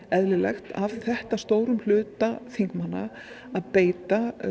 eðlilegt af þetta stórum hluta þingmanna að beita